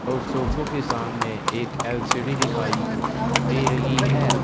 और सोफो के सामने एक एल_सी_डी दिखाई दे रही है।